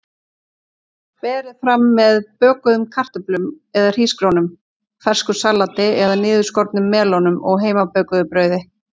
Berið fram með bökuðum kartöflum eða hrísgrjónum, fersku salati eða niðurskornum melónum og heimabökuðu brauði.